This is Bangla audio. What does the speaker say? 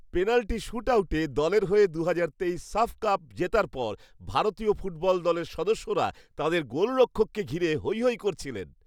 পেনাল্টি শুটআউটে দলের হয়ে দু'হাজার তেইশ সাফ কাপ জেতার পর ভারতীয় ফুটবল দলের সদস্যরা তাঁদের গোলরক্ষককে ঘিরে হইহই করছিলেন।